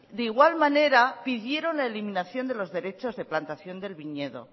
de igual manera pidieron la eliminación de los derechos de plantación del viñedo